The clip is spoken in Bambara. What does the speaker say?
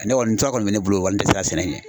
Ne kɔni tura kɔni bɛ ne bolo wa ne tɛ siran sɛnɛ ɲɛ.